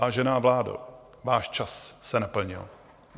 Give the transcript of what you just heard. Vážená vládo, váš čas se naplnil.